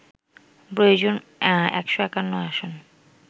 প্রয়োজন ১৫১ আসন